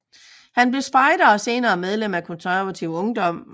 Han blev spejder og senere medlem af Konservativ Ungdom